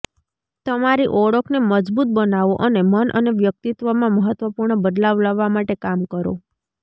તમારી ઓળખને મજબૂત બનાવો અને મન અને વ્યક્તિત્વમાં મહત્ત્વપૂર્ણ બદલાવ લાવવા માટે કામ કરો